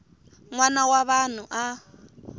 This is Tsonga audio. n wana wa vanhu a